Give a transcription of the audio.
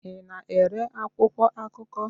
Ị na-ere akwụkwọ akụkọ?